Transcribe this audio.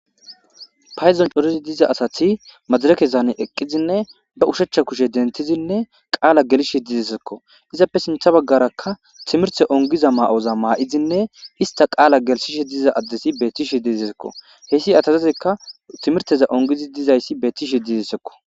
Paydon corizi diza asati madarekezaane eqqizinne ba ushechcha kushe dentizinne qaala gelishe didessekko izappe sintha baggarakka timirte ongiza ma7oza maa7izinne hista qaala gelishishe diza addesi beettishe diisekko heyssi atazazekka timirteza ongizi dizayssi betishe didesekko.